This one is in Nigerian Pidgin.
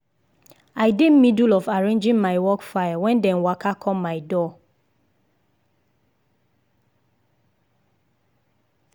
i dey middle of arranging my work file when dem waka come my door.